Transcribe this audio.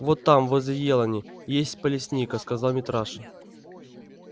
вот там возле елани и есть палесника сказал митраша